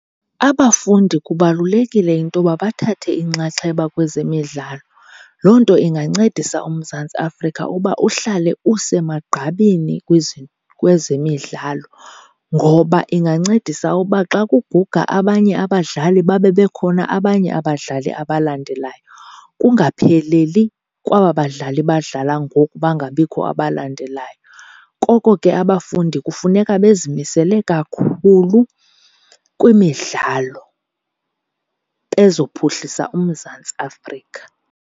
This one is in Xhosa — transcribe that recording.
Abafundi kubalulekile into yoba bathathe inxaxheba kwezemidlalo. Loo nto ingancedisa uMzantsi Afrika uba uhlale usemagqabini kwezemidlalo. Ngoba ingancedisa uba xa kuguga abanye abadlali babe bekhona abanye abadlali abalandelayo, kungapheleli kwaba badlali badlala ngoku bangabikho abalandelayo. Koko ke abafundi kufuneka bezimisele kakhulu kwimidlalo bezophuhlisa uMzantsi Afrika.